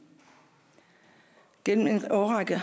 gennem en årrække